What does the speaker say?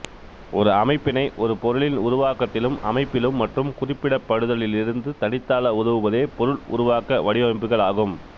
ஒரு அமைப்பினை ஒரு பொருளின் உருவாக்கத்திலும் அமைப்பிலும் மற்றும் குறிப்பிடப்படுதலிளிருந்து தனித்தாள உதவுவதே பொருள் உருவாக்க வடிவமைப்புகள் ஆகும்